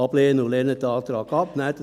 Lehnen Sie den Antrag ab.